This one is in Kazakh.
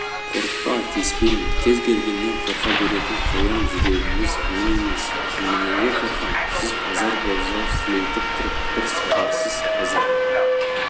қорықпа тиіспеймін кез келгеннен қорқа беретін қоян жүрегіңіз мен емес неменеге қорқам сіз азар болса сілейтіп тұрып бір сабарсыз қазір